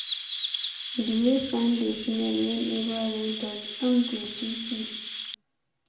The way sand dey smell whenever rain touch am dey sweet me.